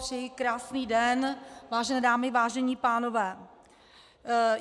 Přeji krásný den, vážené dámy, vážení pánové.